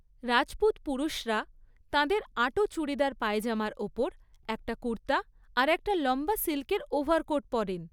রাজপুত পুরুষরা তাঁদের আঁটো চুড়িদার পায়জামার ওপর একটা কুর্তা আর একটা লম্বা সিল্কের ওভারকোট পরেন।